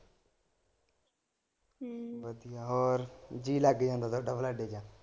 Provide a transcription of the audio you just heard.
ਹਮ ਹੋਰ ਜੀਅ ਲੱਗ ਜਾਂਦਾ ਤੁਹਾਡਾ ਬਲਾਡੋ ਚ।